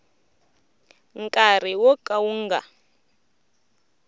nkarhi wo ka wu nga